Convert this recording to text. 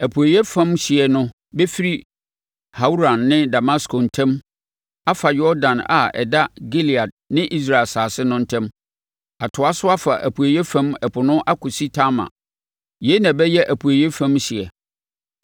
Apueeɛ fam hyeɛ no bɛfiri Hauran ne Damasko ntam afa Yordan a ɛda Gilead ne Israel asase no ntam, atoa so afa apueeɛ fam ɛpo no akɔsi Tamar. Yei na ɛbɛyɛ apueeɛ fam hyeɛ.”